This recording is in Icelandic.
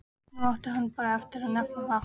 Nú átti hann bara eftir að nefna það.